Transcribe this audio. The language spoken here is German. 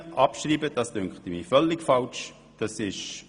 Die Abschreibung fände ich hingegen nicht gerechtfertigt.